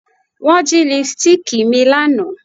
Wọn jí lipstíìkì mi lánàá